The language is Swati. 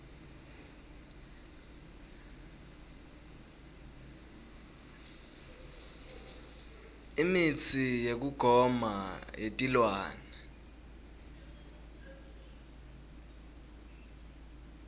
imitsi yekugoma yetilwane